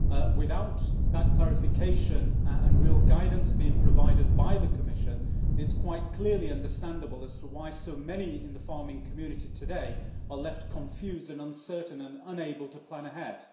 Without that clarification and real guidance being provided by the Commission, it is quite clearly understandable as to why so many in the farming community today are left confused, uncertain and unable to plan ahead.